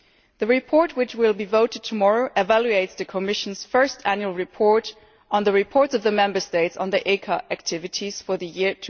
The report that will be voted tomorrow evaluates the Commission's first annual report on the reports of the Member States on ECA activities for the year